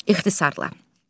İxtisarlla.